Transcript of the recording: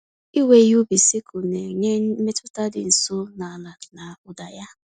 Iwe ihe ubi sikụl na-enye mmetụta dị nso na ala na ụda ya.